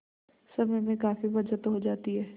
समय में काफी बचत हो जाती है